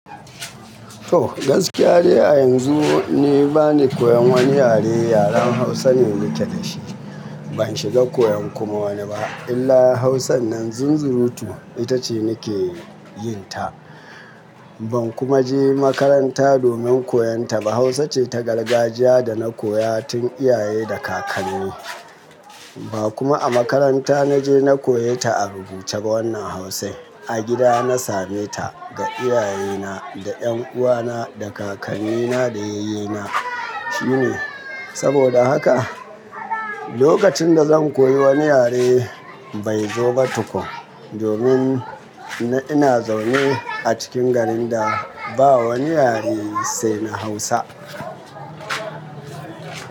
To gaskiya de a yanzu ni bani koyan wani yare, yaren Hausa ne nake da shi. Ban shiga koyan kuma wani ba illa Hausan nan zunzuruu tu ita ce nake yin ta. Ban kuma je makaranta domin koyon ta ba. Hausa ce ta gargajiya da na koya tun iyaye da kakanni. Ba kuma a makaranta na je na koye ta a rubuce ba wannan Hausan, a gida na same ta ga iyayena, da 'yan uwana, da kakannina, da yayyena. Shine. Saboda haka lokacin da zan koyi wani yare bai zo ba tukun domin ina zaune a cikin garin da ba wani yare sai na Hausa.